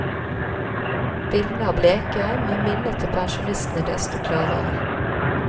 Bildene er bleke, men minnet til pensjonistene desto klarere.